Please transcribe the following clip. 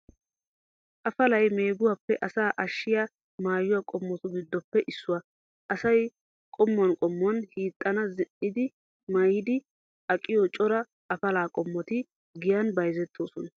Afalay meeguwaappe asaa ashshiya maayuwaa qommotu giddoppe issuwaa. Asay qamman qamman hiixan zin"iiddi maayidi aqiyo cora afalaa qommoti giyaan bayzettoosona.